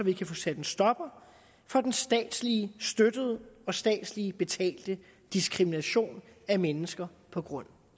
vi kan få sat en stopper for den statsligt støttede og statsligt betalte diskrimination af mennesker på grund